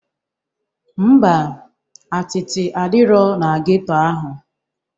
Ḿbà, atịtị adirọ na geto ahụ.